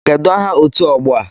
Kedụ aha otu ọgbọ a?